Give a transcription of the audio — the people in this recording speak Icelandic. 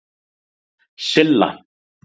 Silla